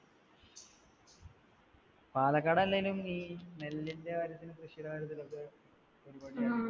പാലക്കാട് അല്ലെനും ഈ നെല്ലിന്റെ കാര്യത്തിനും കൃഷിടെ കാര്യത്തിനൊക്കെ